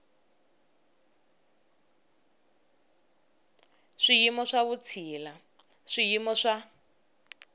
swiyimo swa vutshila swiyimo swa